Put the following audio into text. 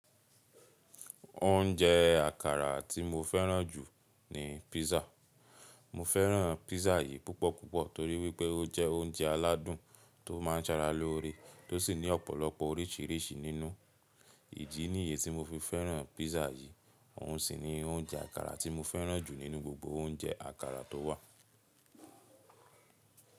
Oúnjẹ àkàrà tí mo fẹ́ràn jù ni pizza. Mo fẹ́ràn pizza yìí púpọ̀púpọ̀ torí wípẹ́ ó jẹ oúnjẹ aládùn tó má ń sara lóore, tó sì ní ọ̀pọ̀lọpọ̀ oríṣìíríṣìí nínú. Ìdí nìyẹ́n tí mo fi fẹ́ràn pizza yìí, òun sì ni oúnjẹ àkàrà tí mo fẹ́ràn jù nínú gbogbo oúnjẹ àkàrà tó wà.